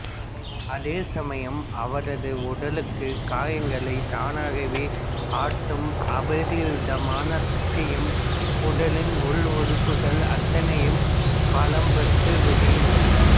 அதேசமயம் அவரது உடலுக்கு காயங்களைத் தானாகவே ஆற்றும் அபரிதமான சக்தியும் உடலின் உள் உறுப்புகள் அத்தனையும் பலம் பெற்றும் விடுகின்றன